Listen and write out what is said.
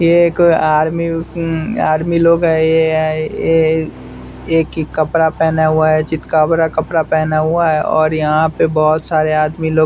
ये एक आर्मी अ म आर्मी लोग है ये आ ऐय एक कपड़ा पहना हुआ है चितकबरा कपड़ा पहना हुआ है और यहाँ पर बहुत सारे आदमी लोग --